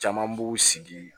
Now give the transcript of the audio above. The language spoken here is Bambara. Caman b'u sigi